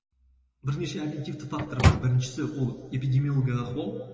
бірнеше обьективтік фактор бар біріншісі ол эпидемиологиялық ахуал